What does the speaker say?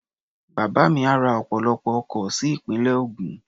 Bàbá mi á ra ọ̀pọ̀lọpọ̀ oko sí ìpínlẹ̀ Ògùn.